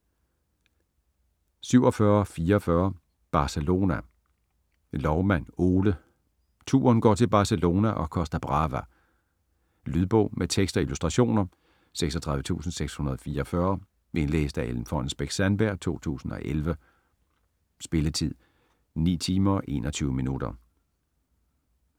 47.44 Barcelona Loumann, Ole: Turen går til Barcelona & Costa Brava Lydbog med tekst og illustrationer 36644 Indlæst af Ellen Fonnesbech-Sandberg, 2011. Spilletid: 9 timer, 21 minutter.